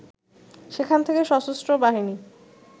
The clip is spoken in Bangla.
সেখান থেকে সশস্ত্র বাহিনী